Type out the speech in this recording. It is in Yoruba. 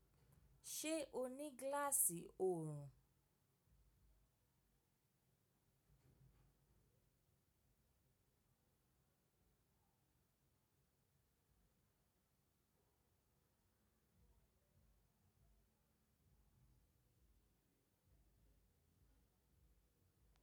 Ṣe o ni gilaasi oorun?